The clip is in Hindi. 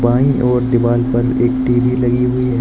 बाईं ओर दीवाल पर एक टी_वी लगी हुई है।